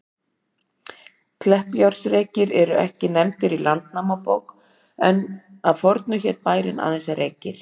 Kleppjárnsreykir eru ekki nefndir í Landnámabók, en að fornu hét bærinn aðeins Reykir.